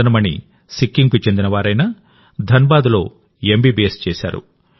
మదన్ మణి సిక్కింకు చెందినవారైనా ధన్బాద్లో ఎంబీబీఎస్ చేశారు